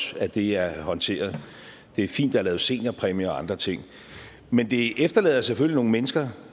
at det er blevet håndteret og det er fint at lavet seniorpræmier og andre ting men det efterlader selvfølgelig nogle mennesker